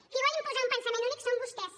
qui vol imposar un pensament únic són vostès